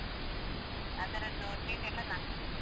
ಹಾ okay , ಅದರದ್ದು treat ಎಲ್ಲಾ ನಾನ್ ಕೊಡ್ತೇನೆ.